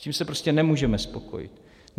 S tím se prostě nemůžeme spokojit.